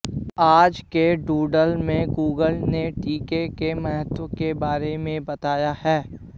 आज के डूडल में गूगल ने टीके के महत्व के बारे में बताया है